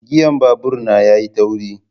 giyan babur na yayi tauri.